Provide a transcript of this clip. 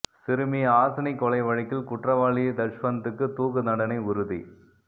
சிறுமி ஹாசினி கொலை வழக்கில் குற்றவாளி தஷ்வந்த்துக்கு தூக்குதண்டனை உறுதி